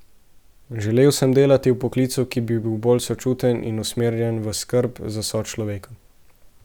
Želel sem delati v poklicu, ki bi bil bolj sočuten in usmerjen v skrb za sočloveka.